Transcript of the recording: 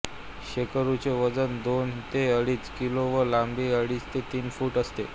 शेकरूचे वजन दोन ते अडीच किलो व लांबी अडीच ते तीन फूट असते